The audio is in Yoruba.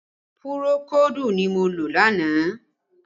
Pùròkódù ni mo lò lánàá